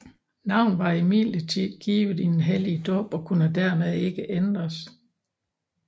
Navnet var imidlertid givet i den hellige dåb og kunne dermed ikke ændres